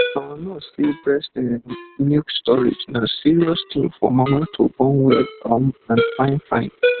our nurse say breast ehnnn milk storage na serious thing for mama to born well um and fine fine